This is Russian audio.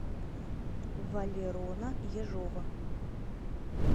валерона ежова